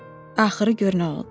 Axırı gör nə oldu.